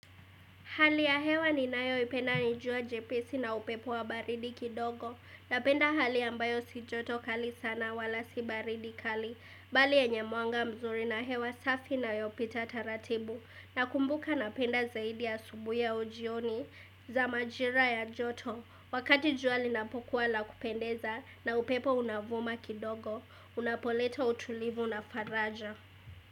Hali ya hewa ninayoipenda ni jua jepesi na upepo wa baridi kidogo Napenda hali ambayo si joto kali sana wala si baridi kali Bali yenye mwanga mzuri na hewa safi inayopita taratibu Nakumbuka napenda zaidi ya asubuhi au jioni za majira ya joto Wakati jua linapokuwa la kupendeza na upepo unavuma kidogo Unapoleta utulivu na faraja.